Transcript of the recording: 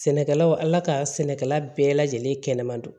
Sɛnɛkɛlaw ala ka sɛnɛkɛla bɛɛ lajɛlen kɛnɛma don